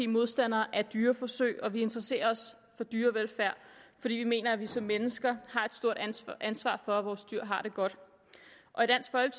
modstandere af dyreforsøg vi interesserer os for dyrevelfærd fordi vi mener at vi som mennesker har et stort ansvar ansvar for at vores dyr har det godt